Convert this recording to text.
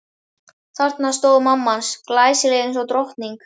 Þarna stóð mamma hans, glæsileg eins og drottning.